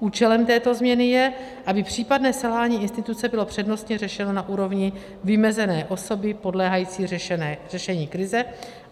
Účelem této změny je, aby případné selhání instituce bylo přednostně řešeno na úrovni vymezené osoby podléhající řešení krize,